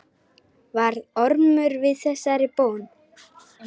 Varð Ormur við þessari bón.